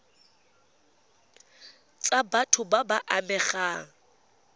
tsa batho ba ba amegang